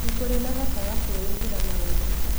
Nĩ kũrĩ mahotaga kwĩĩkĩra maũndũ